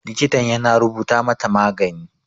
Likitan ya na rubuta mata magani.